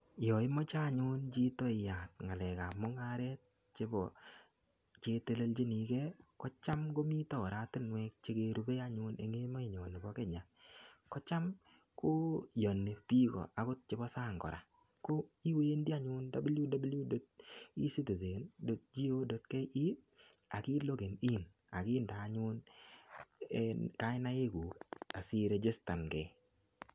Yo imoche anyun chito iyat ngalekab mungaret chebo chetelelchini ke kocham komite orstinuek chekerupe anyun en emenyon nebo Kenya. Kocham koyani biik agot chebo sang kora ko iwendi anyun www.ecitizen.go.ke ak ilogen in ak inde anyun kainaiguk asiregistan ke.